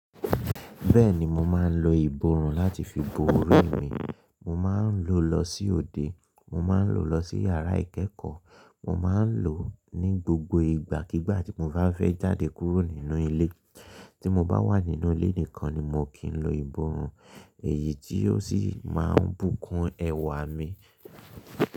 Bẹ́ẹ̀ni mo máa ń lo ìbòòrùn láti fi bo orí mi, mo máa ń lo lọ sí òde, mo máa ń lo lọ sí yàrá ìkẹ́ekọ̀ọ́, mo máa ń lo ní gbogbo ìgbà kígbà tí mo bá fẹ́ jáde kúrò nínú ilé. Tí mo bá wà nínú ilé nìkan ni moo kì ń lo ìbòòrùn èyí tí ó sì máa ń bùkún ẹwà mi.